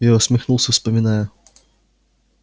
я усмехнулся вспоминая